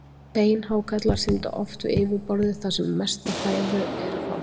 Beinhákarlar synda oft við yfirborðið þar sem mesta fæðu er að fá.